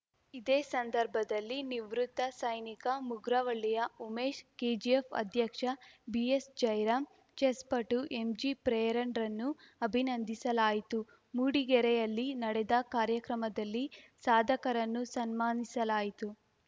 ಇದೇ ಸಂದರ್ಭದಲ್ಲಿ ನಿವೃತ್ತ ಸೈನಿಕ ಮುಗ್ರವಳ್ಳಿಯ ಉಮೇಶ್‌ ಕೆಜಿಎಫ್‌ ಅಧ್ಯಕ್ಷ ಬಿಎಸ್‌ಜೈರಾಂ ಚೆಸ್‌ ಪಟು ಎಂಜಿಪ್ರೇರಣ್‌ರನ್ನು ಅಭಿನಂದಿಸಲಾಯಿತು ಮೂಡಿಗೆರೆಯಲ್ಲಿ ನಡೆದ ಕಾರ್ಯಕ್ರಮದಲ್ಲಿ ಸಾಧಕರನ್ನು ಸನ್ಮಾನಿಸಲಾಯಿತು